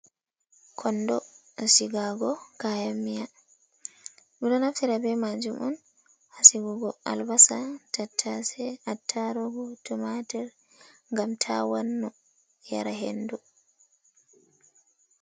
Kondo sigago kayanmiiya, ɗum ɗo naftira be maajum on haa sigugo albasa, tattase, attarugo, tumaatir, ngam taawon no, yara hendu.